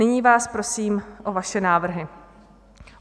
Nyní vás prosím o vaše návrhy.